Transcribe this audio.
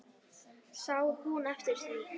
Sá hún eftir því?